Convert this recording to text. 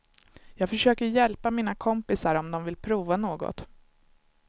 Jag försöker hjälpa mina kompisar om de vill prova något.